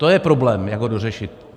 To je problém, jak ho dořešit.